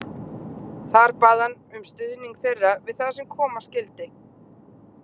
Þar bað hann um stuðning þeirra við það sem koma skyldi.